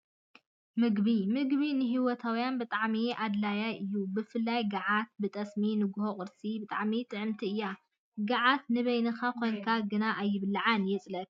ምግቢ፦ ምግቢ ንሂወታውያ ብጣዕሚ ኣደላይ እዩ። ብፍላይ ጋዓት ብጠስሚ ንጎሆ ቁርሲ ብጣዕሚ ጥዕምቲ እያ። ጋዓት ንበይካ ኮይንካ ግና አየብለዐልካን የፅለኣካ እዩ።